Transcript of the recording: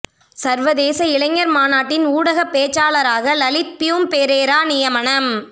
சர்வதேச இளைஞர் மாநாட்டின் ஊடகப் பேச்சாளராக லலித் பியூம் பெரேரா நியமனம்